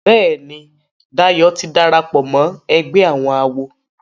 Béèni Dayo tí darapọ̀ mọ ègbé àwọn àwo.